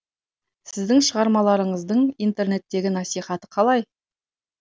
сіздің шығармаларыңыздың интернеттегі насихаты қалай